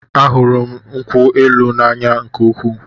A hụrụ m nkwụ élù na-anya nke úkwuu